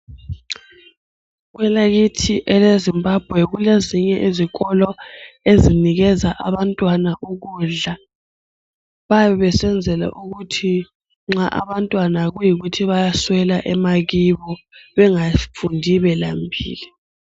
Kwelakithi eleZimbabwe kulezinye izikolo ezinikeza abantwana ukudla. Bayabe besenzela ukuthi nxa abantwana kuyikuthi bayaswela emakibo bengafundi belambile.